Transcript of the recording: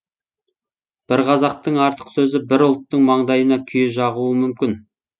бір қазақтың артық сөзі бір ұлттың маңдайына күйе жағуы мүмкін